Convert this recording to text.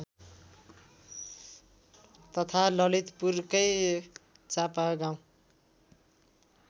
तथा ललितपुरकै चापागाउँ